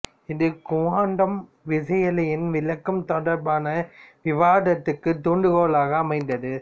இது குவாண்டம் விசையியலின் விளக்கம் தொடர்பான விவாதத்துக்குத் தூண்டுகோலாக அமைந்தது